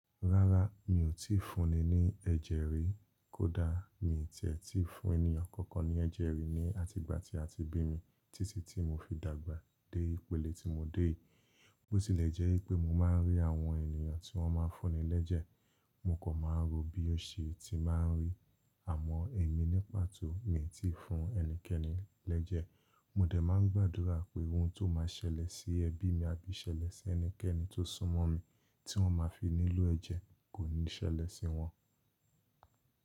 Rárá mi ò tíì fúnni ní ẹ̀jẹ̀ rí, kódà mi tí ẹ́ ti fún ènìyàn kankan ní ẹ̀jẹ̀ rí ní àtìgbà tí a ti bí mi títí tí mo fi dàgbà dé ipele tí mo dé yìí. Bó tilẹ̀ jẹ́ pé mo máa ń rí àwọn ènìyàn tí wọ́n máa ń fúnni lẹ́jẹ̀, mo kò mọ bí ó ṣe ti máa ń rí, àmọ́ èmi ní pàtó mi tí fún ẹnikẹ́ni lẹ́jẹ̀. Mo dẹ̀ máa ń gbàdúrà pé ohun tó máa ṣẹlẹ̀ sí ẹbí mi àbí ṣẹlẹ̀ sí ẹnikẹ́ni tó súnmọ́ mi tí wọ́n máa fi nílò ẹ̀jẹ̀ kò ní ṣẹlẹ̀ sí wọn.